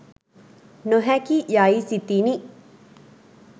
නොහැකි යයි සිතිණි.